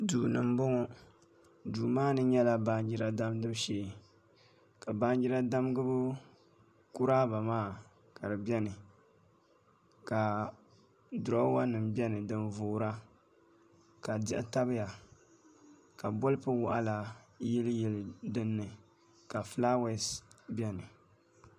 Duu ni n bɔŋɔ duu maa ni nyɛla baanjira damgibu shee ka baanjira damgibu kuraaba maa ka di biɛni ka duroowa nim biɛni din yoora ka diɣi tabiya ka bolfu waɣala waɣala yili yili dinni ka fulaawɛs biɛni